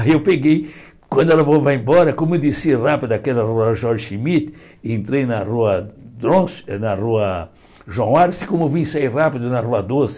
Aí eu peguei, quando ela falou, vai embora, como eu desci rápido daquela rua Jorge Schmidt, entrei na rua na rua João Arce, como eu vim sair rápido na rua Doce,